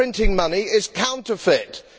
Printing money is counterfeiting.